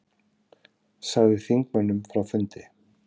Sagði þingmönnum frá fundi